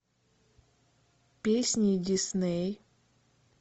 песни дисней